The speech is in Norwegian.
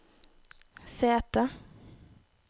sete